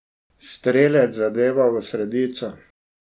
Strelec zadeva v sredico!